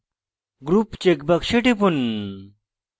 group check box টিপুন